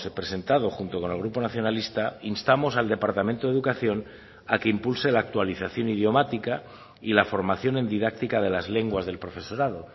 presentado junto con el grupo nacionalista instamos al departamento de educación a que impulse la actualización idiomática y la formación en didáctica de las lenguas del profesorado